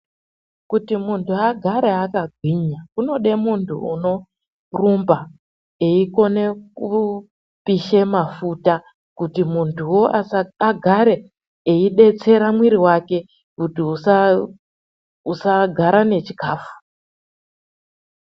Kuti mundu agare akagwinya kunode mundu unorumba eikone kupishe mafuta kuti munduwo agare eidetsera mwiri wake kuti usagare nechikafu.